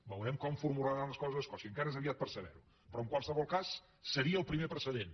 veurem com formularan les coses escòcia encara és aviat per saber ho però en qualsevol cas seria el primer precedent